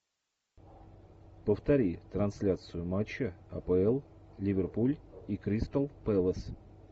повтори трансляцию матча апл ливерпуль и кристал пэлас